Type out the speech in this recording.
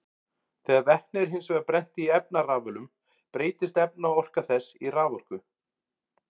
Þegar vetni er hins vegar brennt í efnarafölum breytist efnaorka þess í raforku.